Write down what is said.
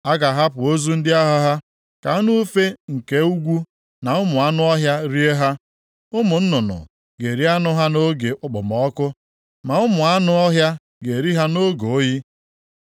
A ga-ahapụ ozu ndị agha ha ka anụ ufe nke ugwu na ụmụ anụ ọhịa rie ha. Ụmụ nnụnụ ga-eri anụ ha nʼoge okpomọkụ, ma ụmụ anụ ọhịa ga-eri ha nʼoge oyi.